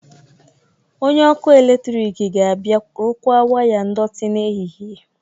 Onye ọkụ eletrik ga-abịa rụkwaa waya ndọtị n'ehihie